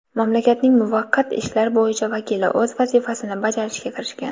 Mamlakatning muvaqqat ishlar bo‘yicha vakili o‘z vazifasini bajarishga kirishgan.